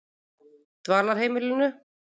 Dvalarheimilinu